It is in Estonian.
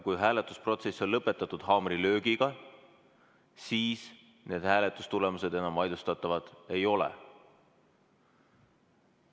Kui hääletusprotsess on lõpetatud haamrilöögiga, siis hääletamistulemused enam vaidlustatavad ei ole.